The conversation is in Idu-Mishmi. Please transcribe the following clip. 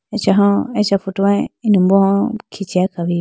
acha ho acha photo mai inimbo ho khichiyayi khawuyi.